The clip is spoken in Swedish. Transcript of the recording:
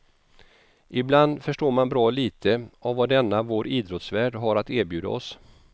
Ibland förstår man bra lite av vad denna vår idrottsvärld har att erbjuda oss.